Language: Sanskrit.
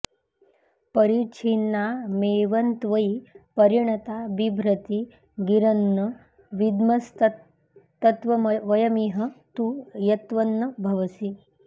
परिच्छिन्नामेवन्त्वयि परिणता बिभ्रति गिरन्न विद्मस्तत्तत्त्ववयमिह तु यत्त्वन्न भवसि